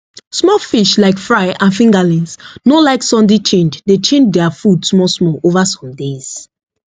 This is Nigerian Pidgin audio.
small fish like fry and fingerlings no like sudden change dey change their food small small over some days